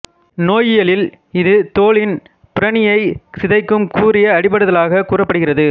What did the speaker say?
நோயியலில் இது தோலின் புறணியைச் சிதைக்கும் கூரிய அடிபடுதலாக கூறப்படுகிறது